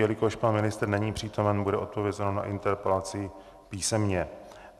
Jelikož pana ministr není přítomen, bude odpovězeno na interpelaci písemně.